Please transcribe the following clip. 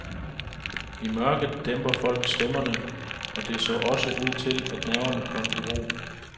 I mørket dæmper folk stemmerne, og det så også ud til, at nerverne kom i ro.